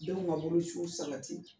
Denw ka bolociw sabati